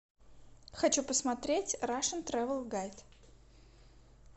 хочу посмотреть рашен тревел гайд